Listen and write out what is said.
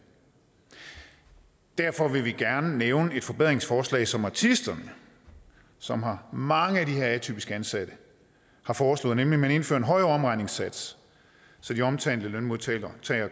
derfor vil vi gerne nævne et forbedringsforslag som artisterne som har mange af de her atypisk ansatte har foreslået nemlig at man indfører en højere omregningssats så de omtalte lønmodtagere